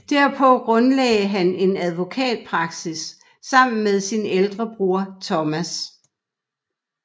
Derpå grundlagde han en advokatpraksis sammen med sin ældre bror Thomas